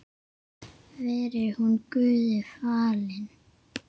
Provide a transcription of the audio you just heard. Veri hún Guði falin.